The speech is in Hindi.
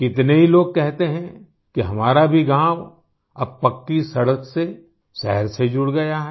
कितने ही लोग कहते हैं कि हमारा भी गाँव अब पक्की सड़क से शहर से जुड़ गया है